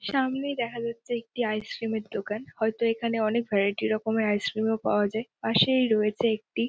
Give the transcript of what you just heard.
সামনেই দেখা যাচ্ছে একটি আইসক্রিম - এর দোকান। হয়তো এখানে অনেক ভ্যারাইটি রকমের আইসক্রিম - ও পাওয়া যায় পাশেই রয়েছে একটি--